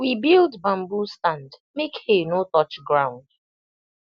we build bamboo stand make hay no touch ground